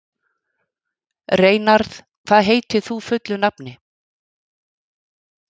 Reynarð, hvað heitir þú fullu nafni?